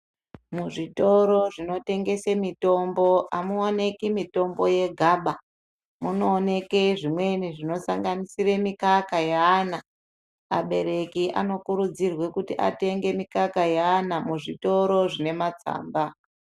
Mizvitoro zvinotengese mitombo amuoneki mitombo yegaba munooneke zvimweni zvinosanganisire mikaka yeana abereki anokurudzirwa kuti atenge mikaka yeana muzvitoro zvine matsamba.